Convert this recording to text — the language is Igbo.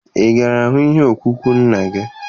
Ị gara hụ ihe ọkpụkpụ nna gị?